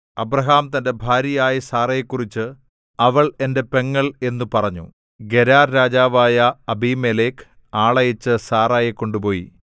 Abraham തന്റെ ഭാര്യയായ സാറായെക്കുറിച്ച് അവൾ എന്റെ പെങ്ങൾ എന്നു പറഞ്ഞു ഗെരാർ രാജാവായ അബീമേലെക്ക് ആളയച്ച് സാറായെ കൊണ്ടുപോയി